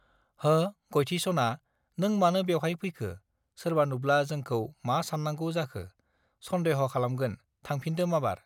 हो गयथि सना नों मानो बेवहाय फैखो सोरबा नुब्ला जोंखौ मा सान्नांगौ जखौ सन्देह खालामगोन थांफिन्दो माबार